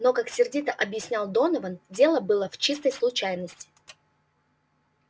но как сердито объяснял донован дело было в чистой случайности